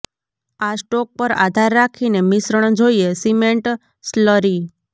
આ સ્ટોક પર આધાર રાખીને મિશ્રણ જોઈએ સિમેન્ટ સ્લરી